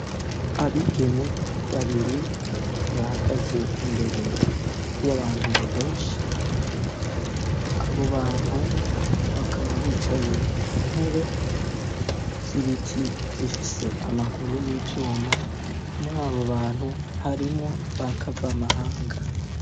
Abigeme babiri bahagaze imbere y'abantu benshi abo bantu bakaba bicaye ku ntebe z'ibiti zifise amaguru y'ivyuma muri abo bantu harimwo bakavamahanga.